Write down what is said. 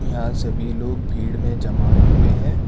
यहां सभी लोग भीड़ में जमा हुए हैं।